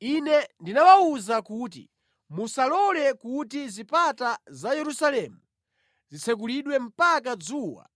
Ine ndinawawuza kuti, “Musalole kuti zipata za Yerusalemu zitsekulidwe mpaka dzuwa